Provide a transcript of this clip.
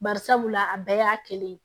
Bari sabula a bɛɛ y'a kelen ye